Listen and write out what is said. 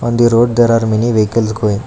on the road there are many vehicles going.